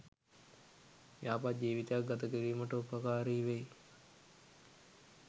යහපත් ජීවිතයක් ගත කිරීමට උපකාරි වෙයි.